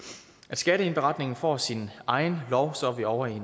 at skatteindberetningen får sin egen lov så er vi ovre i